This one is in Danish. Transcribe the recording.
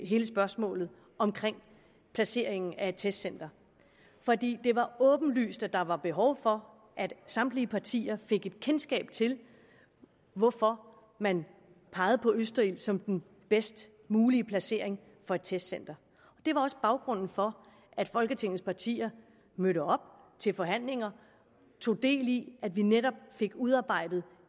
hele spørgsmålet omkring placeringen af et testcenter fordi det var åbenlyst at der var behov for at samtlige partier fik et kendskab til hvorfor man pegede på østerild som den bedst mulige placering af et testcenter det var også baggrunden for at folketingets partier mødte op til forhandlinger tog del i at vi netop fik udarbejdet